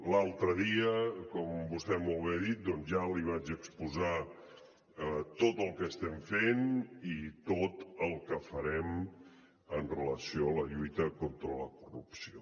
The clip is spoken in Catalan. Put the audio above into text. l’altre dia com vostè molt bé ha dit ja li vaig exposar tot el que estem fent i tot el que farem amb relació a la lluita contra la corrupció